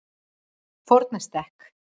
Fornastekk